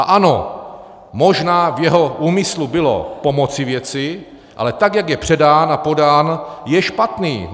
A ano, možná v jeho úmyslu bylo pomoci věci, ale tak jak je předán a podán, je špatný.